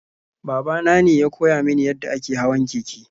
Baba nane ya koya mini yadda ake hawan keke.